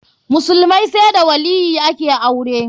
Musulmai sai da waliyyi ake aure.